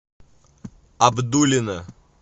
абдулино